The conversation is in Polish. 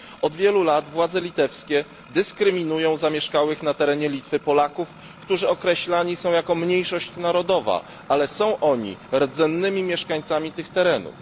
Od wielu lat władze litewskie dyskryminują zamieszkałych na terenie Litwy Polaków, którzy określani są jako mniejszość narodowa, pomimo że są oni rdzennymi mieszkańcami tych terenów.